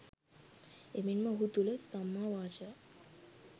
එමෙන්ම ඔහු තුළ සම්මා වාචා,